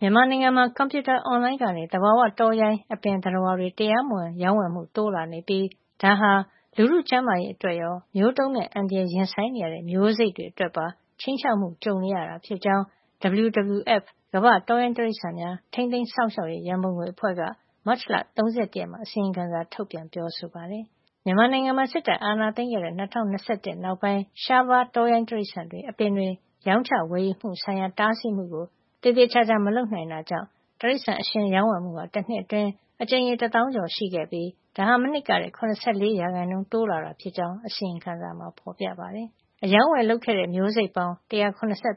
မြန်မာနိုင်ငံမှာ ကွန်ပြူတာအွန်လိုင်းကနေ သဘာဝတောရိုင်း အပင်၊ သတ္တဝါတွေ တရားမဝင်ရောင်းဝယ်မှု တိုးလာနေပြီး ဒါဟာ လူထုကျန်းမာရေး အတွက်ရော မျိုးတုန်းမဲ့အန္တရာယ် ရင်ဆိုင်နေရတဲ့ မျိုးစိတ်တွေ အတွက်ပါ ခြိမ်းခြောက်မှုကြုံနေရတာ ဖြစ်ကြောင်း WWF ကမ္ဘာ့တောရိုင်းတိရိစ္ဆာန် ထိန်းသိမ်းစောင့်ရှောက်ရေးရံပုံငွေအဖွဲ့က မတ်လ ၃၁ ရက်နေ့မှာ အစီရင်ခံစာ ထုတ်ပြန်ပြောဆိုပါတယ်။ မြန်မာနိုင်ငံမှာ စစ်တပ်အာဏာသိမ်းခဲ့တဲ့ ၂၀၂၁ နောက်ပိုင်း ရှားပါးတောရိုင်း တိရိစ္ဆာန်တွေ အပင်တွေ ရောင်းချ ဝယ်ယူမှုဆိုင်ရာ တားဆီးမှုတွေကို သေသေချာချာ မလုပ်နိုင်တဲ့အတွက် တိရိစ္ဆာန်အရှင်ရောင်းဝယ်မှုဟာ တနှစ်အတွင်း အကြိမ်ရေ တသောင်းကျော်ရှိခဲ့ပြီး ဒါဟာ မနှစ်ကထက် ၇၄ % တိုးလာတာဖြစ်ကြောင်း အစီရင်ခံစာမှာ ဖေါ်ပြထားပါတယ်။ အရောင်းအဝယ် လုပ်ခဲ့တဲ့ မျိုးစိတ်ပေါင်း ၁၇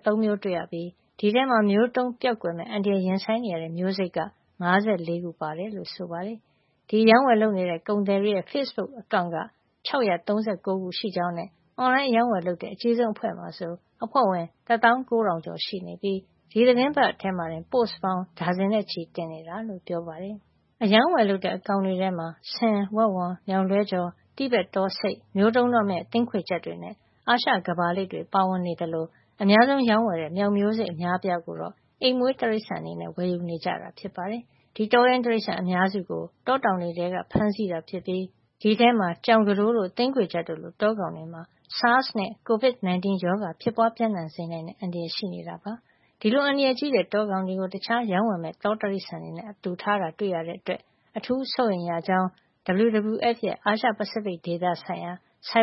၃ မျိုးတွေ့ရပြီး ဒီအထဲမှာ မျိုးတုန်းကွယ်ပျောက်မယ့်အန္တရာယ် ရင်ဆိုင်နေတဲ့မျိုးစိတ်က ၅၄ ခု ပါဝင်တယ်လို့ ဆိုပါတယ်။ ဒီရောင်းဝယ်မှုတွေလုပ်နေတဲ့ ကုန်သည်တွေရဲ့ ဖေ့ဘုတ်အကောင့်က ၆၃၉ ခုရှိနေကြောင်းနဲ့ အွန်လိုင်းအရောင်းအဝယ်လုပ်နေတဲ့ အကြီးဆုံး အဖွဲ့မှာဆို အဖွဲ့ဝင် ၁၉၀၀၀ ကျော် ရှိနေပြီး သီတင်းတပတ်မှာ ပို့စ်ပေါင်း ဒါဇင်နဲ့ချီတင်နေတာလို့ပြောပါတယ်။ အရောင်းအဝယ်လုပ်တဲ့ အကောင်တွေထဲမှာ ဆင်၊ ဝက်ဝံ၊ မျောက်လွှဲကျော်၊ တိဘက်တောဆိတ်၊ မျိုးတုန်းတော့မယ့် သင်းခွေချပ်တွေနဲ့ အာရှကမ္ဘာလိပ်တွေ ပါဝင်နေသလို အများဆုံးအရောင်းဝယ်လုပ်တဲ့ မျောက်မျိုးစိတ်အများအပြားကိုတော့ အိမ်မွေးတိရိစ္ဆာန် အနေနဲ့ဝယ်ယူ နေကြတာ ဖြစ်ပါတယ်။ ဒီတောရိုင်းတိရိစ္ဆာန် အများစုကို တောတောင်တွေထဲက ဖမ်းဆီးခဲ့တာဖြစ်ပြီး ဒီအထဲမှာ ကြောင်ကတိုးတို့၊ သင်းခွေချပ်တို့လို တောကောင်တွေမှာ SARS နဲ့ COVID-19 ရောဂါဖြစ်ပွါး ပြန့်နှံ့စေနိုင်တဲ့ အန္တရာယ် ရှိနေတာ ဖြစ်ပါတယ်။ ဒီလို အန္တရာယ်ကြီးတဲ့ တောကောင်တွေကို တခြားရောင်းဝယ်မယ့် တောတိရိစ္ဆာန်တွေနဲ့ အတူထားတာ တွေ့ရတဲ့ အတွက်အထူး စိုးရိမ်ရကြောင်း WWF ရဲံ အာရှ-ပစိဖိတ်ဒေသ ဆိုင်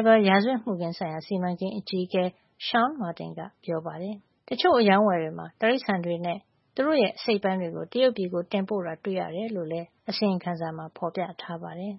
ဘာရာဇဝတ်မှုခင်း ဆိုင်ရာ စီမံကိန်းအကြီးအကဲ Shaun Martin က ပြောပါတယ်။ တချို့အရောင်းအဝယ်တွေမှာ တိရိစ္ဆာန်တွေရဲ့ သူတို့ရဲ့ အစိတ်အပိုင်းတွေကို တရုတ်ပြည်ကို တင်ပို့တာ တွေ့ရတယ်လို့လည်း WWF အစီရင်ခံစာမှာ ဖေါ်ပြထားပါတယ်။